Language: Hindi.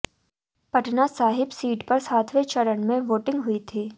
पटना साहिब सीट पर सातवें चरण में वोटिंग हुई थी